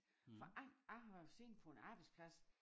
For jeg har siddet på en arbejdsplads